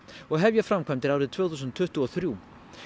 og hefja framkvæmdir árið tvö þúsund tuttugu og þrjú